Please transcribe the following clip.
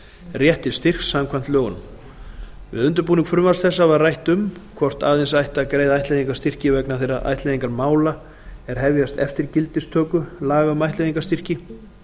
rétt til styrks samkvæmt lögunum við undirbúning frumvarps þessa var rætt um hvort aðeins ætti að greiða ættleiðingarstyrki vegna þeirra ættleiðingarmála er hefjast eftir gildistöku laga um ættleiðingarstyrki